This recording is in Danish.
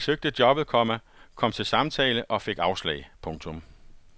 Han søgte jobbet, komma kom til samtale og fik afslag. punktum